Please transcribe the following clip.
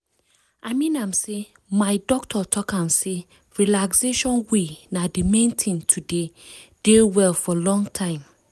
i mean am sey my doctor talk am sey relaxation way na d main thing to dey dey well for long time.